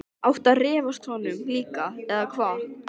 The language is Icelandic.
Átti að refsa honum líka, eða hvað?